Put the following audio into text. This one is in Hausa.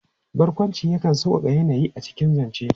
Barƙwanci yakan sauƙaƙa yanayi a cikin zance.